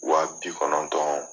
Wa bi kɔnɔntɔn